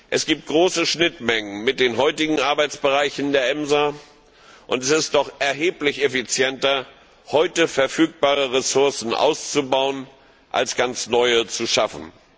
Es gibt große Schnittmengen mit den heutigen Arbeitsbereichen der EMSA, und es ist doch erheblich effizienter, heute verfügbare Ressourcen auszubauen, als ganz neue zu schaffen.